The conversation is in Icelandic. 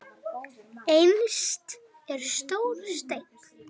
Innst er stór steinn.